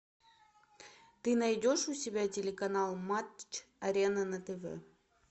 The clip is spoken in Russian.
ты найдешь у себя телеканал матч арена на тв